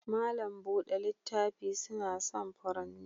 Mallam buɗe littafi suna son furanni.